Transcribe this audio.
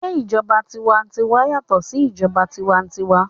Se ìjọba tiwantiwa yàtọ̀ sí ìjọba tiwa-n-tiwa?